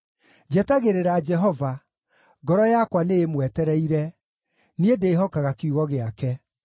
Njetagĩrĩra Jehova, ngoro yakwa nĩĩmwetereire, niĩ ndĩĩhokaga kiugo gĩake.